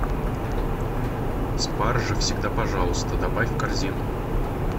спаржа всегда пожалуйста добавь в корзину